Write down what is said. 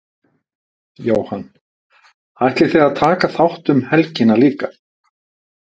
Jóhann: Ætlið þið að taka þátt um helgina líka?